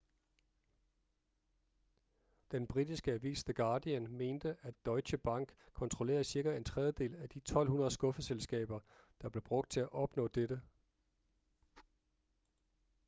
den britiske avis the guardian mente at deutsche bank kontrollerede cirka en tredjedel af de 1200 skuffeselskaber der blev brugt til at opnå dette